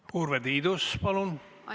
Urve Tiidus, palun!